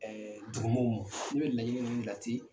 Ɛɛ duguw maw ma n'u ye laɲini ninnun lati